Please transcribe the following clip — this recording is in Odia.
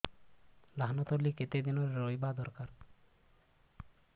ଧାନ ତଳି କେତେ ଦିନରେ ରୋଈବା ଦରକାର